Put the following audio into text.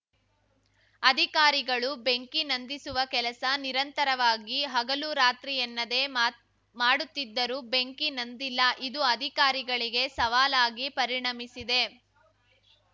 ಅಧಿಕಾರಿಗಳು ಬೆಂಕಿ ನಂದಿಸುವ ಕೆಲಸ ನಿರಂತರವಾಗಿ ಹಗಲು ರಾತ್ರಿ ಎನ್ನದೆ ಮಾತ್ ಮಾಡುತ್ತಿದ್ದರೂ ಬೆಂಕಿ ನಂದಿಲ್ಲಇದು ಅಧಿಕಾರಿಗಳಿಗೆ ಸವಾಲಾಗಿ ಪರಿಣಮಿಸಿದೆ